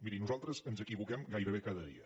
miri nosaltres ens equivoquem gairebé cada dia